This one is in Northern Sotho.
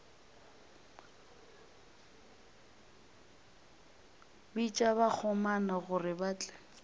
bitša bakgomana gore ba tle